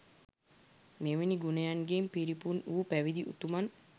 මෙවැනි ගුණයන්ගෙන් පිරිපුන් වූ පැවිදි උතුමන්